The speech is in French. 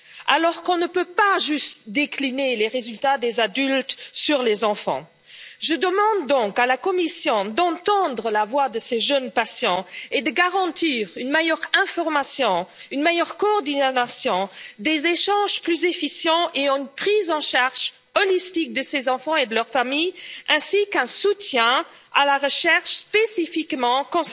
Alors qu'on ne peut pas juste décliner les résultats des adultes sur les enfants, je demande donc à la Commission d'entendre la voix de ces jeunes patients et de garantir une meilleure information, une meilleure coordination, des échanges plus efficaces et une prise en charge globale de ces enfants et de leurs familles, ainsi qu'un soutien à la recherche axée spécifiquement sur